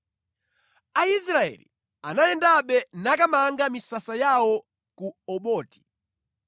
Aisraeli anayendabe nakamanga misasa yawo ku Oboti.